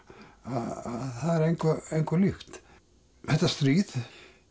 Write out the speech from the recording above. að það er engu engu líkt þetta stríð